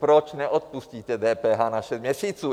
Proč neodpustíte DPH na šest měsíců?